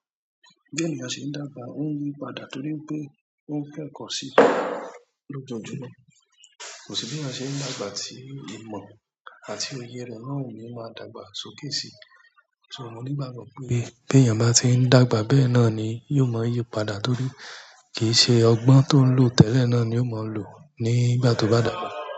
Bí èèyàn ṣe ń dàgbà, ó ń yí padà torí pé ó ń kẹ́ẹ̀kọ́ sí i lójoojúmọ́. Kò sí bí èèyàn ṣe ń dàgbà tí ìmọ̀ àti òye rẹ̀ náà ò ní máa dàgbà sókè sí i. So mo ní ìgbàgbọ́ pé bí èèyàn bá tí ń dàgbà bẹ́ẹ̀ náà ni yóò mọ yípadà torí kì í ṣe ọgbọ́n tó ń lò tẹ́lẹ̀ náà ni ó máa ń lò nígbà tó bá dàgbà.